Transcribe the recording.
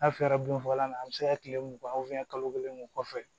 N'a fiyɛra binfagalan na an bɛ se ka kile mugan kalo kelen o kɔfɛ